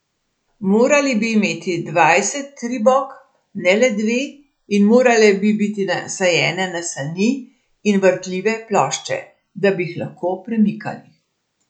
Morali bi imeti dvajset tribok, ne le dve, in morali bi biti nasajene na sani in vrtljive plošče, da bi jih lahko premikali.